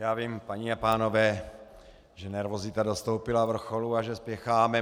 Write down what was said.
Já vím, paní a pánové, že nervozita dostoupila vrcholu a že spěcháme.